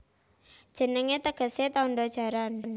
Jenengé tegesé Tandha Jaran